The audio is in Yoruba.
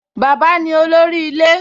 Bàbá ni olórí ilé